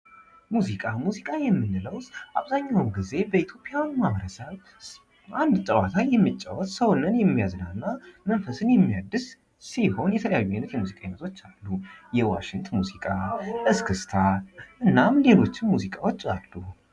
ሙዚቃ፦ ሙዚቃ የምንለው አብዛኛውን ግዜ በኢትዮጵያ ማህበረሰብ ባህላዊ ጨዋታን የሚጫወት ሰውንም የሚያዝናኑ እና መንፈስን የሚያድስ ሲሆን የተለያዩ አይነት የሙዚቃ አይነቶች አሉ። የዋሽንት ሙዚቃ እስክስታ እና ሌሎችም ሙዚቃዎች አሉ።